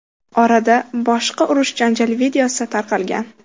Orada boshqa urush-janjal videosi tarqalgan.